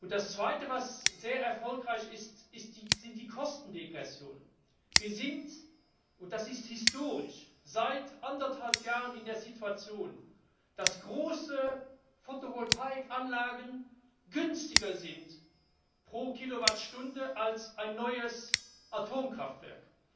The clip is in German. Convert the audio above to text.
Das zweite, was sehr erfolgreich ist, sind die Kostenrückgänge. Wir sind und das ist historisch seit anderthalb Jahren in der Situation, dass große Fotovoltaik Anlagen günstiger sind pro Kilowattstunde als ein neues Atomkraftwerk.